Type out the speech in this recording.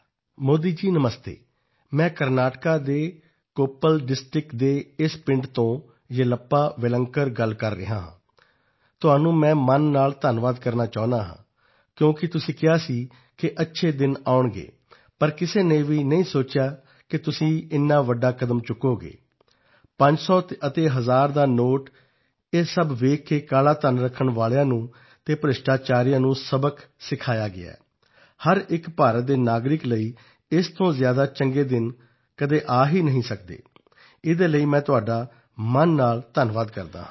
ਮੋਦੀ ਜੀ ਨਮਸਤੇ ਮੈਂ ਕਰਨਾਟਕ ਦੇ ਕੋਪੱਲ ਡਿਸਟ੍ਰਿਕਟ ਦਾ ਇਸ ਪਿੰਡ ਤੋਂ ਯੇਲੱਪਾ ਵੇਲਾਂਕਰ ਗੱਲ ਕਰ ਰਿਹਾ ਹਾਂ ਤੁਹਾਨੂੰ ਮਨ ਤੋਂ ਮੈਂ ਧੰਨਵਾਦ ਕਰਨਾ ਚਾਹੁੰਦਾ ਹਾਂ ਕਿਉਂਕਿ ਤੁਸੀਂ ਕਿਹਾ ਸੀ ਕਿ ਅੱਛੇ ਦਿਨ ਆਉਣਗੇ ਪਰ ਕਿਸੇ ਨੇ ਵੀ ਨਹੀਂ ਸੋਚਿਆ ਕਿ ਅਜਿਹਾ ਵੱਡਾ ਕਦਮ ਤੁਸੀਂ ਉਠਾਓਗੇ ਪੰਜ ਸੌ ਦਾ ਅਤੇ ਹਜ਼ਾਰ ਦਾ ਨੋਟ ਇਹ ਸਭ ਦੇਖ ਕੇ ਕਾਲਾ ਧਨ ਅਤੇ ਭ੍ਰਿਸ਼ਟਾਚਾਰੀਆਂ ਨੂੰ ਸਬਕ ਸਿਖਾਇਆ ਹੈ ਹਰ ਇੱਕ ਭਾਰਤ ਦੇ ਨਾਗਰਿਕ ਲਈ ਇਸ ਤੋਂ ਅੱਛੇ ਦਿਨ ਕਦੇ ਨਹੀਂ ਆਉਣਗੇ ਇਸ ਲਈ ਮੈਂ ਤੁਹਾਨੂੰ ਮਨ ਤੋਂ ਧੰਨਵਾਦ ਕਰਨਾ ਚਾਹੁੰਦਾ ਹਾਂ